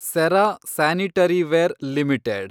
Cera sanitaryware limited